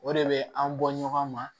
O de bɛ an bɔ ɲɔgɔn ma